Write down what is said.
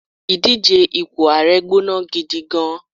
idije ipo ààrẹ gbóná gidi gan